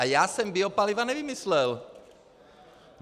A já jsem biopaliva nevymyslel.